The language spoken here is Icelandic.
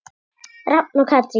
Rafn og Katrín.